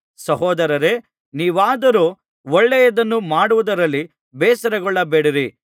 ಸಹೋದರರೇ ನೀವಾದರೋ ಒಳ್ಳೆಯದನ್ನು ಮಾಡುವುದರಲ್ಲಿ ಬೇಸರಗೊಳ್ಳಬೇಡಿರಿ